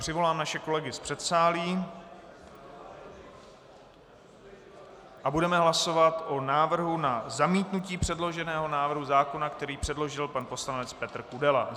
Přivolám naše kolegy z předsálí a budeme hlasovat o návrhu na zamítnutí předloženého návrhu zákona, který předložil pan poslanec Petr Kudela.